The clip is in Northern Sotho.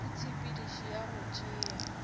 ka tshepedišo ya go tšea